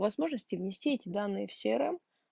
возможности внести эти данные в срм